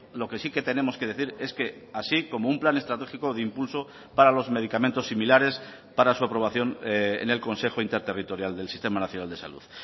lo que sí que tenemos que decir es que así como un plan estratégico de impulso para los medicamentos similares para su aprobación en el consejo interterritorial del sistema nacional de salud